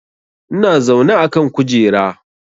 Ina zaune a kan kujera